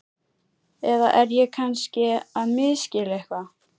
Eða er ég kannski að misskilja eitthvað?